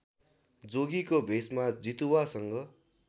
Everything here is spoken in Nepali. जोगीको भेषमा जितुवासँग